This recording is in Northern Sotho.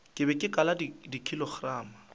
ke be ke kala dikilogramo